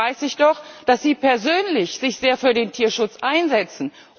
Dabei weiß ich doch, dass Sie persönlich sich sehr für den Tierschutz einsetzen.